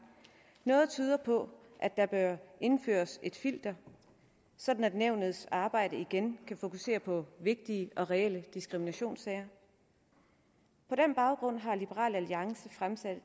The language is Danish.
noget tyder på at der bør indføres et filter sådan at nævnets arbejde igen kan fokusere på vigtige og reelle diskriminationssager på den baggrund har liberal alliance fremsat